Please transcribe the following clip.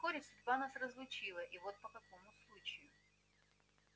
но вскоре судьба нас разлучила и вот по какому случаю